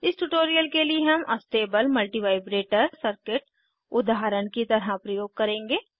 इस ट्यूटोरियल के लिए हम अस्टेबल मल्टीवाइब्रेटर सर्किट उदाहरण की तरह प्रयोग करेंगे